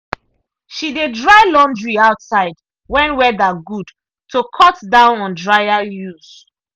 she dey dry laundry outside when weather good to cut down on dryer use.